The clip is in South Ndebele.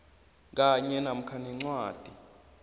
kanye namkha nencwadi